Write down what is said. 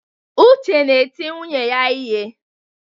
Uche na-eti nwunye ya ihe.